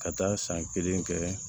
Ka taa san kelen kɛ